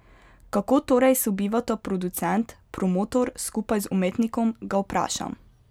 Kako torej sobivata producent, promotor skupaj z umetnikom, ga vprašam.